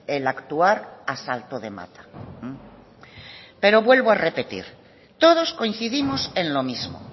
el actuar a salto de mata pero vuelvo a repetir todos coincidimos en lo mismo